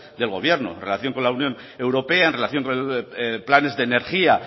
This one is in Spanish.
del gobierno en relación con la unión europea en relación con planes de energía